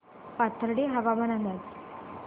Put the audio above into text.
पाथर्डी हवामान अंदाज